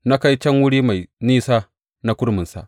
Na kai can wuri mafi nisa na kurminsa.